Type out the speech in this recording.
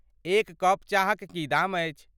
एक कप चाहक की दाम अछि।